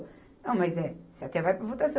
Não, mas é, você até vai para votação.